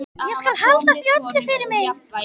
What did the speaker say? Ég skal halda því öllu fyrir mig.